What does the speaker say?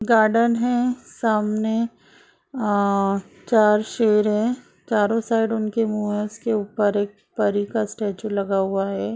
Garden है सामने आ चार शेर है चारो साइड उनके मुंह है उसके ऊपर एक परी का स्टेचू लगा हुआ है।